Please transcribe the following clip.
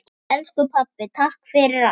Elsku pabbi, takk fyrir allt.